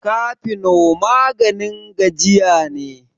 cafino maganin gajiya ne